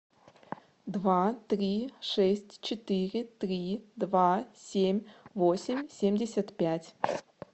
два три шесть четыре три два семь восемь семьдесят пять